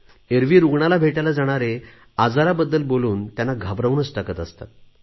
एरवी रुग्णाला भेटायला जाणारे आजाराबद्दल बोलून त्यांना घाबरवूनच टाकत असतात